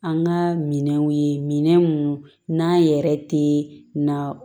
An ka minɛnw ye minɛn minnu n'a yɛrɛ te na